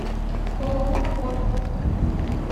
ооо порт